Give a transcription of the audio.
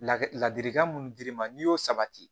La ladilikan minnu dir'i ma n'i y'o sabati